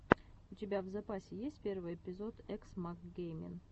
у тебя в запасе есть первый эпизод экс мак геймин